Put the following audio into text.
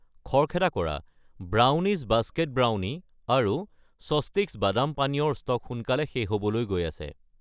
খৰখেদা কৰা, brownies basket brownie আৰু স্বস্তিক্ছ বাদাম পানীয় ৰ ষ্টক সোনকালে শেষ হ'বলৈ গৈ আছে।